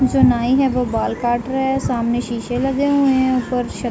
जो नाई है वो बाल काट रहा है। सामने शीशे लगे हुए हैं। ऊपर श --